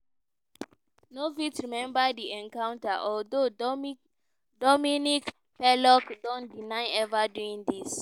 no fit remember di encounter although dominique pelicot don deny ever doing dis.